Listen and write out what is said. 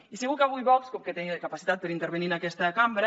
i segur que avui vox com que té capacitat per intervenir en aquesta cambra